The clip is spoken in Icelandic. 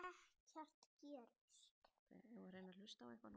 Og ekkert gerist.